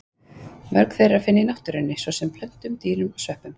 Mörg þeirra er að finna í náttúrunni, svo sem í plöntum, dýrum og sveppum.